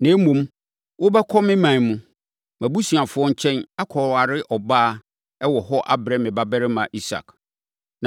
Na mmom, wobɛkɔ me ɔman mu, mʼabusuafoɔ nkyɛn, akɔware ɔbaa wɔ hɔ abrɛ me babarima Isak.’